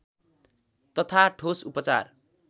तथा ठोस उपचार